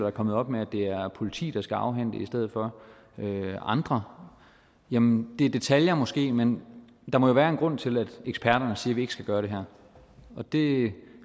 er kommet op med at det er politiet der skal afhente i stedet for andre jamen det er detaljer måske men der må jo være en grund til at eksperterne siger at vi ikke skal gøre det her det